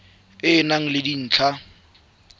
e e nang le dintlha